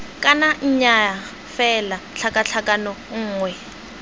kana nnyaa fela tlhakatlhakano nngwe